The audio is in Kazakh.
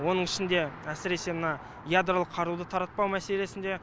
оның ішінде әсіресе мына ядролық қаруды таратпау мәселесінде